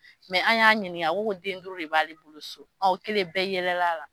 Mɛ an y'a ɲininga a ko ko den duuru de b'ale bolo so, o kɛlen bɛɛ yɛlɛla la.